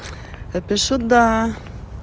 а пишу да